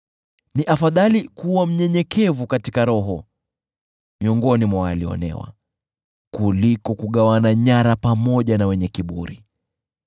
Ni afadhali kuwa mnyenyekevu katika roho miongoni mwa walioonewa kuliko kugawana nyara pamoja na wenye kiburi.